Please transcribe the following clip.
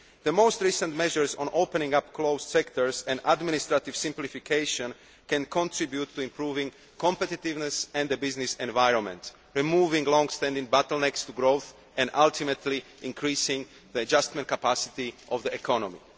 The most recent measures on opening up closed sectors and administrative simplification can contribute to improving competitiveness and a business environment, removing long standing bottlenecks to growth and ultimately increasing the adjustment capacity of the economy.